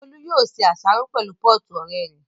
Bólú yóò ṣe àsáró pẹ̀lú pọ́ọ̀tù ọ̀rẹ́ rẹ̀